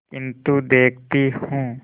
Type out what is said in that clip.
किन्तु देखती हूँ